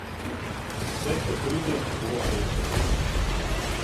Vse, kar pride, bova prenesla skupaj.